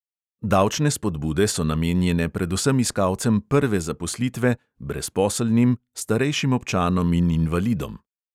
Davčne spodbude so namenjene predvsem iskalcem prve zaposlitve, brezposelnim, starejšim občanom in invalidom.